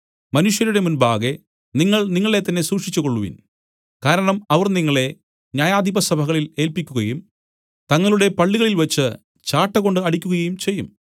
മനുഷ്യരുടെ മുൻപാകെ നിങ്ങൾ നിങ്ങളെ തന്നെ സൂക്ഷിച്ചുകൊള്ളുവിൻ കാരണം അവർ നിങ്ങളെ ന്യായാധിപസഭകളിൽ ഏല്പിക്കുകയും തങ്ങളുടെ പള്ളികളിൽവെച്ച് ചാട്ടകൊണ്ട് അടിക്കുകയും ചെയ്യും